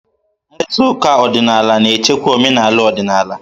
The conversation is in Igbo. Mkpakọrịta ọdịnala na-echekwa omenala ọdịnala.